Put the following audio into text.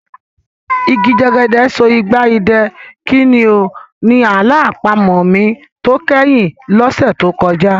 Igi jẹ́gẹ́dẹ́ so igba idẹ, kí ni o? Ni àlọ́ àpamọ̀ mi tó kẹ́yìn lọ́sẹ̀ tó kọjá.